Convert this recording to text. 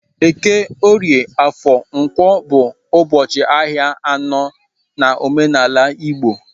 Eke, Orie, Afo, Nkwo bu ubochi ahia ano na omenala Igbo